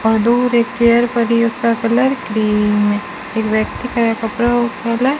और दूर एक चेयर पड़ी है उसका कलर क्रीम है एक व्यक्ति फैला--